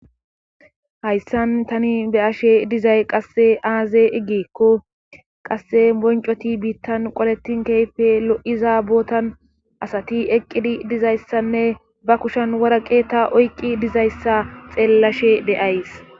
hayssan tani be'ashe dizay qasse aaze igikko qasse boncoti biittan qoletin keehippe lo7iza bootan asati eqqidi dizayssanne ba kushan wora qeeta oyqqi dizayssa xeellashe de'ays